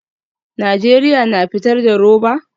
Najeriya na fitar da roba?